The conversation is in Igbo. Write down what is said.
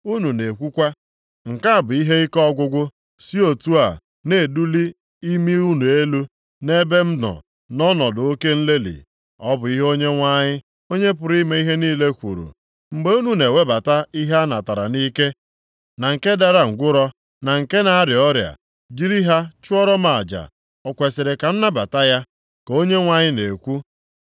Unu na-ekwukwa, ‘Nke a bụ ihe ike ọgwụgwụ,’ si otu a na-eduli imi unu elu nʼebe m nọ nʼọnọdụ oke nlelị.” Ọ bụ ihe Onyenwe anyị, Onye pụrụ ime ihe niile kwuru. “Mgbe unu na-ewebata ihe a natara nʼike, na nke dara ngwụrọ, na nke na-arịa ọrịa, jiri ha chụọrọ m aja, o kwesiri ka m nabata ya?” Ka Onyenwe anyị na-ekwu.